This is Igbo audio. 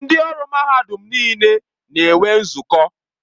Ndị ọrụ mahadum niile na-enwe nzukọ.